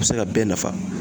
A be se ka bɛɛ nafa.